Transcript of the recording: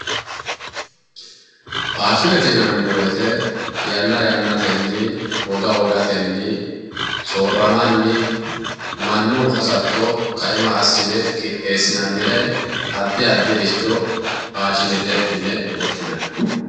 Faashinete yinanni woyiite yanna yannatenni woga wogatenni soorramanni mannu hasatto kaima assine qixxeessinannire addi addiricho faashinete yine woshshinayi.